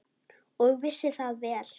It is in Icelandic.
Og vissi það vel.